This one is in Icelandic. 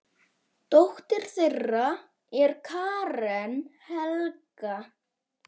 Dóttir þeirra er Karen Helga.